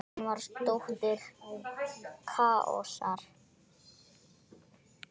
Hún var dóttir Kaosar.